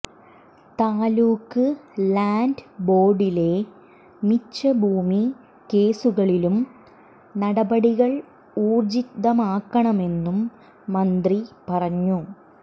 taluk land ബോർഡിലെ മിച്ചഭൂമി കേസുകളിലും നടപടികൾ ഊർജിതമാക്കണമെന്നും മന്ത്രി പറഞ്ഞു